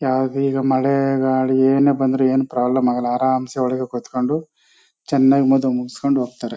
ಯಾವ್ದು ಈಗ ಮಳೆ ಗಾಳಿ ಏನೆ ಬಂದ್ರು ಏನ್ ಪ್ರಾಬ್ಲಮ್ ಆಗಲ್ಲ ಆರಾಮಸೇ ಒಳ್ಳಗೆ ಕುತ್ಕೊಂಡು ಚನ್ನಾಗಿ ಮದುವೆ ಮುಗಸ್ಕೊಂಡು ಹೋಗ್ತಾರೆ.